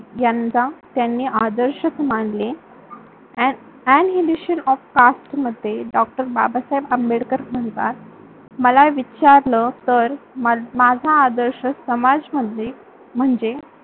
यांना त्यांनी आदर्षक मानले. अन इनिशिअल ऑफ कास्ट मध्ये डॉ. बाबासाहेब आंबेडकर म्हणतात मला विचारल तर माझा आदर्श समाजमधले म्हणजे